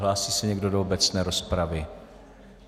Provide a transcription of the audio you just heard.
Hlásí se někdo do obecné rozpravy?